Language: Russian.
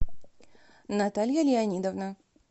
наталья леонидовна